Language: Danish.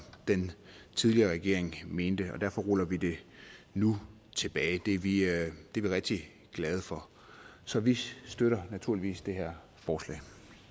den tidligere regering mente og derfor ruller vi det nu tilbage det er vi rigtig rigtig glade for så vi støtter naturligvis det her forslag